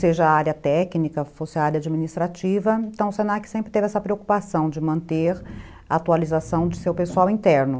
seja a área técnica, fosse a área administrativa, então o se na que sempre teve essa preocupação de manter a atualização de seu pessoal interno.